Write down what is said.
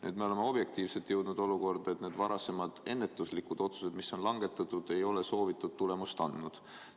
Nüüd me oleme objektiivsetel põhjustel jõudnud olukorda, kus varem langetatud ennetuslikud otsused ei ole soovitud tulemust andnud.